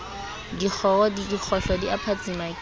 dikgohlo di a phatsima ke